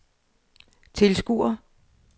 tilskuere